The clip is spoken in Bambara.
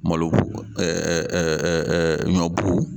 Malobu ɲɔbu.